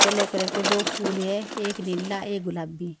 अलग कलर के दो फूल है एक नीला एक गुलाबी--